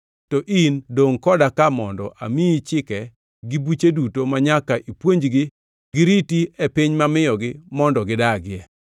To in dongʼ koda ka mondo amiyi chike gi buche duto manyaka ipuonjgi giriti e piny mamiyogi mondo gidagie.”